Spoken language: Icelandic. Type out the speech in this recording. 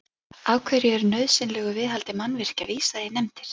Af hverju er nauðsynlegu viðhaldi mannvirkja vísað í nefndir?